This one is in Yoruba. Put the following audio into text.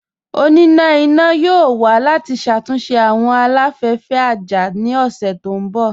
Ọ̀nínà iná yóò wà láti ṣátúnṣe awọn aláfẹ̀fẹ̀ àjá ní ọṣẹ̀ tó nbọ̀.